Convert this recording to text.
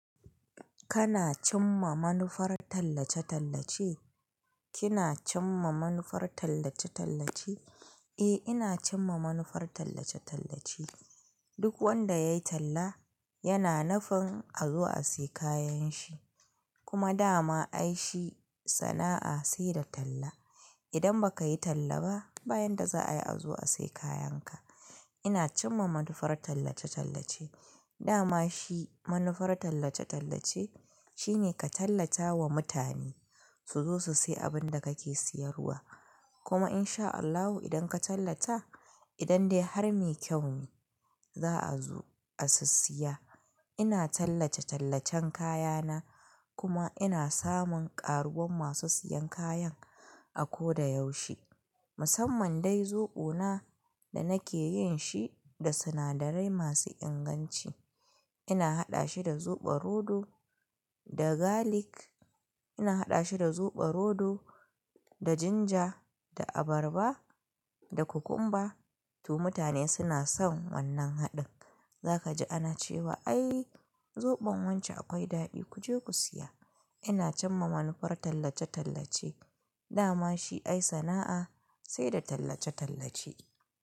Kana cimma manufar tallace-tallace? Kina cimma manufar tallace-tallace? Eh, ina cimma manufar tallace-tallace. Duk wanda ya yi talla yana nufin azo a sayi kayan shi. Kuma da ma ai shi sana'a sai da talla. Idan ba ka yi talla ba, bayan da za a yi a zo a sayi kayan ka. Ina cimma manufar tallace-tallace. Da ma shi manufar tallace-tallace shine ka tallata wa mutane su zo su sayi abin da kake siyarwa. Kuma in sha Allahu, idan ka tallata, idan dai har mai kyau ne, za a zo a si siya. Ina tallace-tallacen kaya na kuma ina samun ƙaruwan masu siyan kayan a ko da yaushe. Musamman dai zoɓo na da nake yin shi da sinadarai masu inganci. Ina haɗa shi da zoɓo rodo, da galic, ina haɗa shi da zoɓo rodo, da ginger, da abarba, da cucumber. To mutane suna son wannan haɗin. Za ka ji ana cewa "ai zoɓon wance akwai daɗi ku je ku siya". Ina cimma manufar tallace-tallace. Da ma shi ai sana'a sai da tallace-tallace.